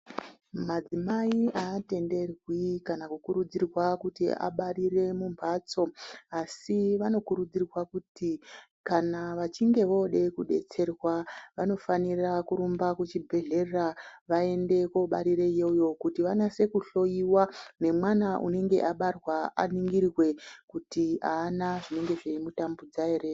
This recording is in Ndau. Madzimai aatenderwi kana kukurudzirwa kuti abarire mumbatso asi vanokurudzirwa kuti kana vachinge vode kudetserwa vanofanira kurumba kuchibhedhlera vaende kobarire iyoyo kuti vanase kohloiwa nemwana unenge abarwa aningirwe kuti ana zvinenge zveimutambudza ere.